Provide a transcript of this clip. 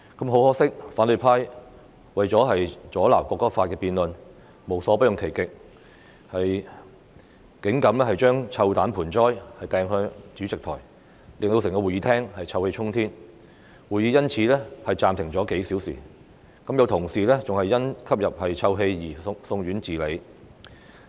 很可惜，反對派為了阻撓《條例草案》的辯論無所不用其極，有議員竟敢將臭彈盆栽擲向主席檯前，令整個會議廳臭氣衝天，會議因而暫停了數小時，有同事更因吸入臭氣而送院治理。